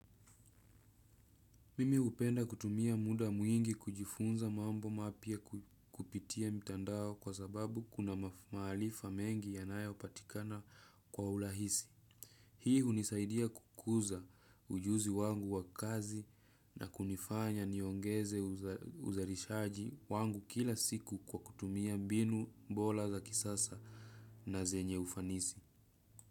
Mimi hupenda kutumia muda mwingi kujifunza mambo mapya kupitia mitandao kwa sababu kuna maarifa mengi yanayopatikana kwa urahisi. Hii hunisaidia kukuza ujuzi wangu wa kazi na kunifanya niongeze uzalishaji wangu kila siku kwa kutumia mbinu bora za kisasa na zenye ufanisi.